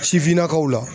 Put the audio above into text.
Sifinnakaw la